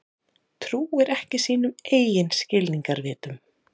Trúir ekki sínum eigin skilningarvitum.